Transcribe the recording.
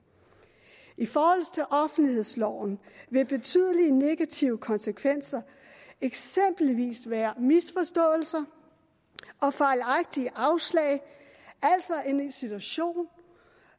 i forhold til offentlighedsloven vil betydelige negative konsekvenser eksempelvis være misforståelser og fejlagtige afslag altså en situation